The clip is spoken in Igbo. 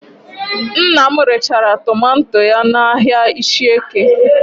Nna m rechara tomanto ya n'ahịa Ishieke